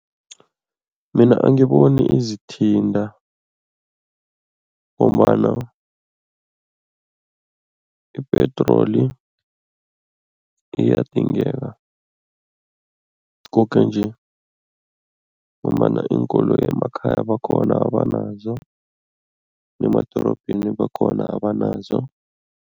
Mina angiboni izithinta ngombana ipetroli iyadingeka koke nje ngombana iinkoloyi emakhaya bakhona abanazo, nemadorobheni bakhona abanazo.